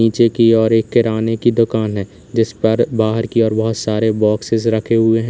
नीचे की ओर एक किराने की दुकान है जिस पर बाहर की ओर बहुत सारे बॉक्ससे रखे हुए हैं।